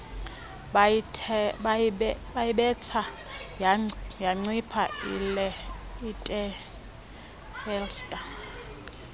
bayibetha yancipha itelstar